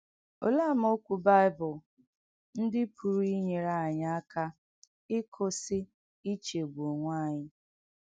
Òleè àmáokwù Báìbụ̀ ndí pùrù ìnyèrè ányị àkà ìkụ̀sì ìchégbù ọ̀nwè ányị?